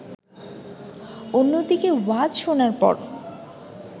অন্যদিকে ওয়াজ শোনার পর